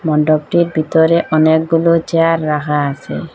মন্ডপটির ভিতরে অনেকগুলো চেয়ার রাখা আসে।